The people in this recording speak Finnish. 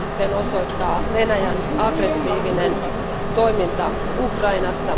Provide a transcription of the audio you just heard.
Sen osoittaa Venäjän aggressiivinen toiminta Ukrainassa.